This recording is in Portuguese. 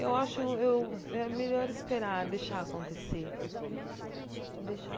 Eu acho eu é melhor esperar deixar acontecer. Deixar